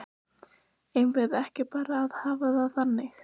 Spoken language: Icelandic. Eigum við ekki bara að hafa það þannig?